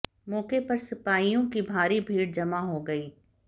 मौके पर सपाइयों की भारी भीड़ जमा हो गयी